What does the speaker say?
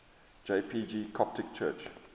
jpg coptic church